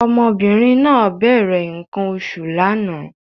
Ọmọbìnrin náà bẹ̀rẹ̀ nǹkan oṣù lánàá